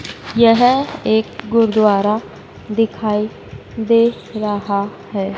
यह एक गुरुद्वारा दिखाई दे रहा है।